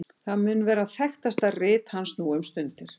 það mun vera þekktasta rit hans nú um stundir